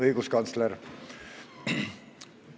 Õiguskantsler!